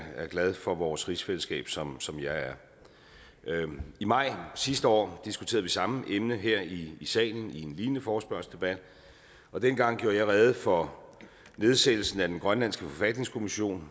glad for vores rigsfællesskab som som jeg er i maj sidste år diskuterede vi samme emne her i salen i en lignende forespørgselsdebat og dengang gjorde jeg rede for nedsættelsen af den grønlandske forfatningskommission